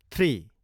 three